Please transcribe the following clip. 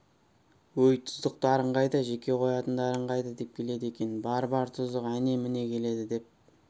өй тұздықтарың қайда жеке қоятындарың қайда деп келеді екен бар бар тұздық әне міне келеді деп